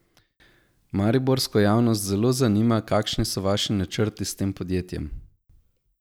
Mariborsko javnost zelo zanima, kakšni so vaši načrti s tem podjetjem?